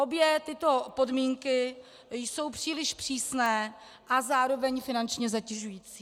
Obě tyto podmínky jsou příliš přísné a zároveň finančně zatěžující.